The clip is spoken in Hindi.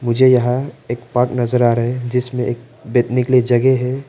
मुझे यहां एक पार्क नजर आ रहे हैं जिसमें एक बैठने के लिए जगह है।